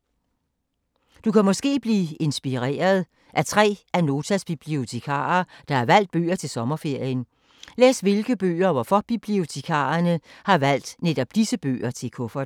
Du kan måske blive inspireret af tre af Notas bibliotekarer, der har valgt bøger til sommerferien. Læs hvilke bøger og hvorfor bibliotekarerne har valgt netop disse bøger til kufferten.